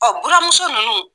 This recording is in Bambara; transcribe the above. Ɔ buramuso nunnu.